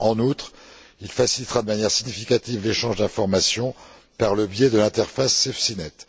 En outre, il facilitera de manière significative l'échange d'informations par le biais de l'interface SafeSeaNet.